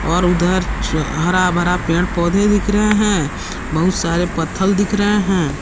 और उधर च हरा भरा पेड़ पौधे दिख रहे हैं बहुत सारे पत्थल दिख रहे हैं।